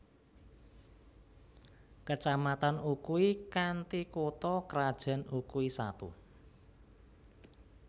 Kecamatan Ukui kanthi kutha krajan Ukui Satu